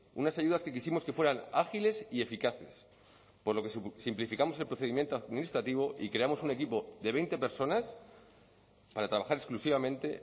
unas ayudas que quisimos que fueran ágiles y eficaces por lo que simplificamos el procedimiento administrativo y creamos un equipo de veinte personas para trabajar exclusivamente